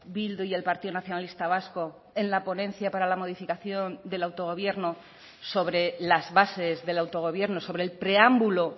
bildu y el partido nacionalista vasco en la ponencia para la modificación del autogobierno sobre las bases del autogobierno sobre el preámbulo